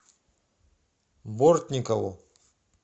бортникову